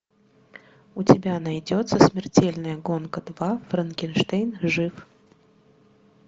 у тебя найдется смертельная гонка два франкенштейн жив